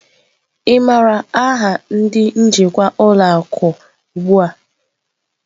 Ị maara aha ndị njikwa ụlọ akụ ugbu a?